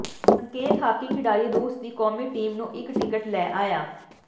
ਸੰਕੇਤ ਹਾਕੀ ਖਿਡਾਰੀ ਰੂਸ ਦੀ ਕੌਮੀ ਟੀਮ ਨੂੰ ਇੱਕ ਟਿਕਟ ਲੈ ਆਇਆ